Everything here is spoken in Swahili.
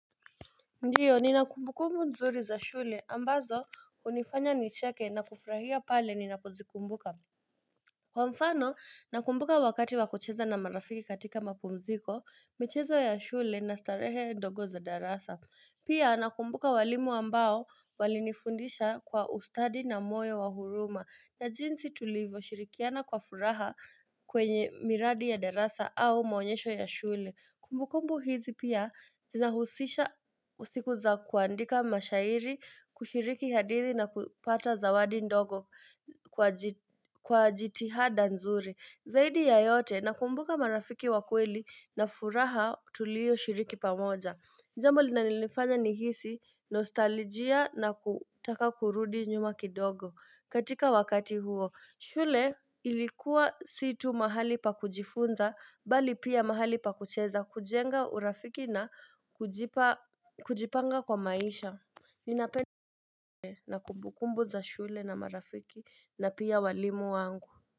Ndiyo ninakumbukumbu nzuri za shule ambazo hunifanya nicheke na kufurahia pale ninapozikumbuka Kwa mfano nakumbuka wakati wakucheza na marafiki katika mapumziko michezo ya shule na starehe ndogo za darasa Pia nakumbuka walimu ambao walinifundisha kwa ustadi na moyo wa huruma na jinsi tulivyoshirikiana kwa furaha kwenye miradi ya darasa au maonyesho ya shule Kumbukumbu hizi pia zinahusisha siku za kuandika mashairi kushiriki hadithi na kupata zawadi ndogo kwa jitihada nzuri. Zaidi ya yote nakumbuka marafiki wa kweli na furaha tuliyoshiriki pamoja. Ni jambo linalonifanya nihisi nostalijia na kutaka kurudi nyuma kidogo katika wakati huo. Shule ilikuwa si tu mahali pa kujifunza bali pia mahali pa kucheza kujenga urafiki na kujipanga kwa maisha Ninapenda na kumbukumbu za shule na marafiki na pia walimu wangu.